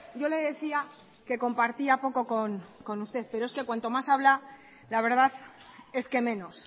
yo le decía que compartía poco con usted pero es cuanto más habla la verdad es que menos